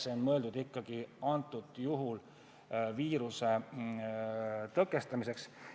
See on mõeldud praegusel juhul ikkagi viiruse tõkestamiseks.